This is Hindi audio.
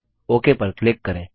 ओक पर क्लिक करें